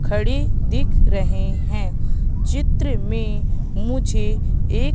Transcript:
खड़ी दिख रहे हैं चित्र में मुझे एक--